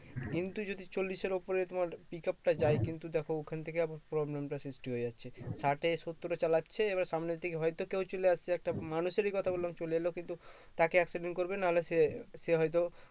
কিন্তু যদি চল্লিশ এর উপরে তোমার pick up টা যায় কিন্তু দেখো ওখান থেকে আবার problem টা সৃষ্টি হয়ে যাচ্ছে ষাট এ সত্তর এ চালাচ্ছে এবার সামনের থেকে হয়তো কেও চলে আসছে একটা মানুষেরই কথা বললাম চলে এলো কিন্তু তাকে accident করবে না হলে সে সে হয়তো